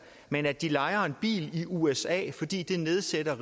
men at de lejer en bil i usa fordi det nedsætter